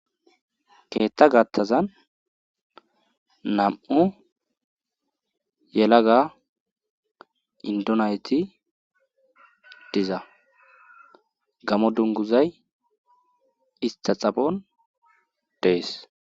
Keethta gattazan nam'u yelaga indonayti diza gamo dunguzay ista xapon dees